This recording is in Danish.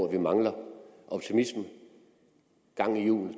at vi mangler optimisme gang i hjulene